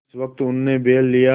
जिस वक्त उन्होंने बैल लिया